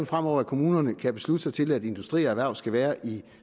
fremover at kommunerne kan beslutte sig til at industri og erhverv skal være i